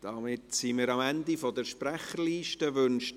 Damit sind wir am Ende der Sprecherliste angelangt.